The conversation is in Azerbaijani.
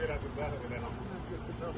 Deyirəm ki, elədi də.